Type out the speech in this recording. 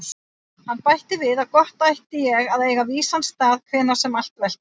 Hann bætti við að gott ætti ég að eiga vísan stað hvenær sem allt veltist.